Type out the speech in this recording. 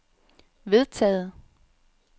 vedtaget